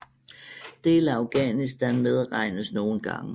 Dele af Afghanistan medregnes nogle gange